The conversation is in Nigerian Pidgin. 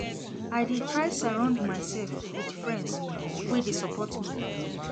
I dey try surround mysef wit friends wey dey support me.